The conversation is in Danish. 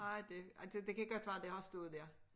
Nej det altså det kan godt være det har stået der